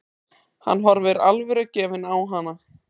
Hann horfir alvörugefinn á hana.